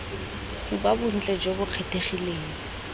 supa bontle jo bo kgethegileng